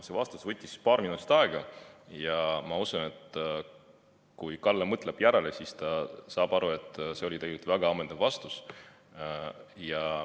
See vastus võttis paar minutit aega ja ma usun, et kui Kalle mõtleb järele, siis ta saab aru, et see oli tegelikult väga ammendav vastus.